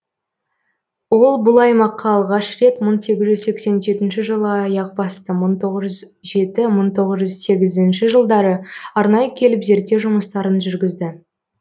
ол бұл аймаққа алғаш рет мың сегіз жүз сексен жетінші жылы аяқ басты мың тоғыз жүз жеті мың тоғыз жүз сегізінші жылдары арнайы келіп зерттеу жұмыстарын жүргізді